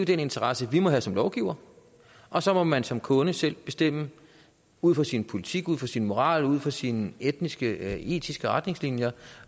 den interesse vi må have som lovgivere og så må man som kunde selv bestemme ud fra sin politik ud fra sin moral ud fra sine etiske etiske retningslinjer